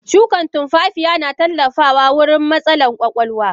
Shukan tunfafiya na tallafawa wurin matsalan kwakwalwa.